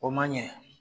O man ɲɛ